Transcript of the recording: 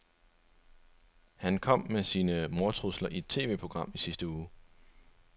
Han kom med sine mordtrusler i et TVprogram i sidste uge.